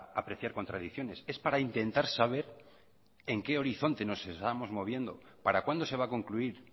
apreciar contradicciones es para intentar saber en que horizonte nos estamos moviendo para cuándo se va a concluir